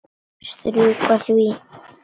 Strjúka því.